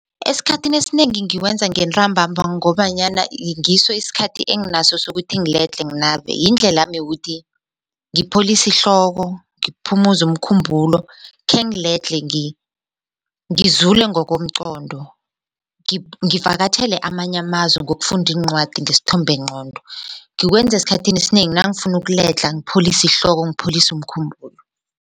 Esikhathini esinengi ngiwenza ngentambamba ngobanyana ngiso isikhathi enginaso sokuthi ngiledlhe nginabe yindlelanami yokuthi ngipholise ihloko ngiphumuze umkhumbulo khengiledlhe ngizule ngokomqondo ngivakatjhele amanye amazwe ngokufunda iincwadi ngesithombengqondo. Ngikwenza esikhathini esinengi nangifuna ukuledlha ngipholise ihloko ngipholise umkhumbulo.